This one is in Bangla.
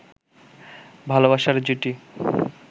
ভালবাসার জুটি